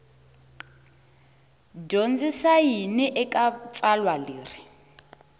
dyondzisa yini eka tsalwa leri